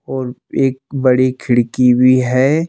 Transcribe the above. और एक बड़ी खिड़की भी है।